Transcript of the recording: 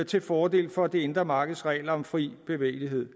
til fordel for det indre markeds regler om fri bevægelighed